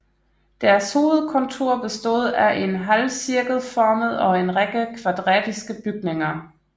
Deres hovedkontor bestod af en halvcirkelformet og en række kvadratiske bygninger